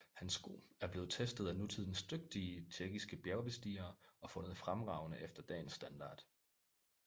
Hans sko er blevet testet af nutidens dygtige tjekkiske bjergbestigere og fundet fremragende efter dagens standard